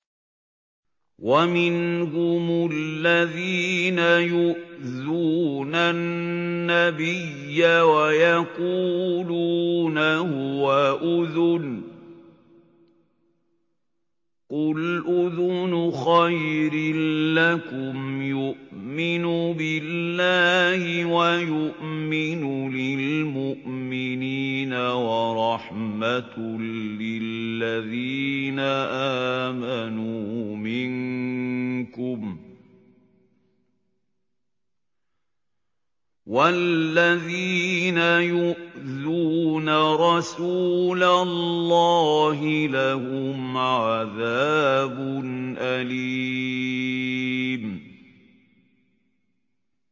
وَمِنْهُمُ الَّذِينَ يُؤْذُونَ النَّبِيَّ وَيَقُولُونَ هُوَ أُذُنٌ ۚ قُلْ أُذُنُ خَيْرٍ لَّكُمْ يُؤْمِنُ بِاللَّهِ وَيُؤْمِنُ لِلْمُؤْمِنِينَ وَرَحْمَةٌ لِّلَّذِينَ آمَنُوا مِنكُمْ ۚ وَالَّذِينَ يُؤْذُونَ رَسُولَ اللَّهِ لَهُمْ عَذَابٌ أَلِيمٌ